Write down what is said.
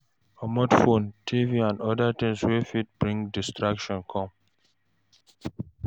Comot phone, TV and oda things wey fot bring distractions come